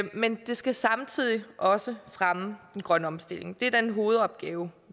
men det skal samtidig også fremme den grønne omstilling det er den hovedopgave